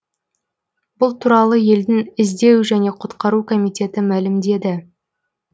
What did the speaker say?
бұл туралы елдің іздеу және құтқару комитеті мәлімдеді